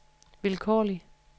vilkårlig